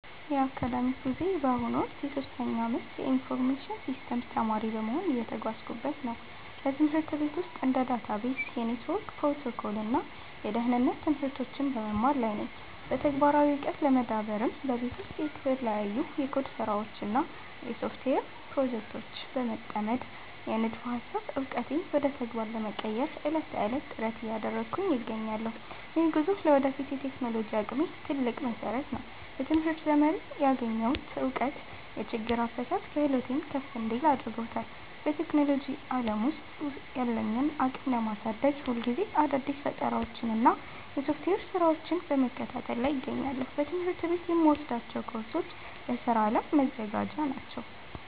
የአካዳሚክ ጉዞዬ በአሁኑ ወቅት የሶስተኛ ዓመት የኢንፎርሜሽን ሲስተምስ ተማሪ በመሆን እየተጓዝኩበት ነው። በትምህርት ቤት ውስጥ እንደ ዳታቤዝ፣ የኔትወርክ ፕሮቶኮል እና የደህንነት ትምህርቶችን በመማር ላይ ነኝ። በተግባራዊ ዕውቀት ለመዳበርም በቤት ውስጥ በተለያዩ የኮድ ስራዎች እና በሶፍትዌር ፕሮጀክቶች በመጠመድ፣ የንድፈ ሃሳብ ዕውቀቴን ወደ ተግባር ለመቀየር ዕለት ተዕለት ጥረት እያደረግኩ እገኛለሁ። ይህ ጉዞ ለወደፊት የቴክኖሎጂ አቅሜ ትልቅ መሰረት ነው። በትምህርት ዘመኔ ያገኘሁት እውቀት የችግር አፈታት ክህሎቴን ከፍ እንዲል አድርጎታል። በቴክኖሎጂ ዓለም ውስጥ ያለኝን አቅም ለማሳደግ፣ ሁልጊዜ አዳዲስ ፈጠራዎችንና የሶፍትዌር ስራዎችን በመከታተል ላይ እገኛለሁ። በትምህርት ቤት የምወስዳቸው ኮርሶች ለስራ ዓለም መዘጋጃ ናቸው